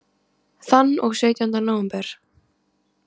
Þann og sautjánda nóvember.